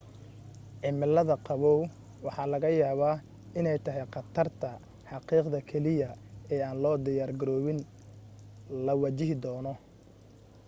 cimilada qabow waxaa laga yaaba iney tahay qatarta xaqiiqda keliya ee aan loo diyaar garoobin la wajahi doono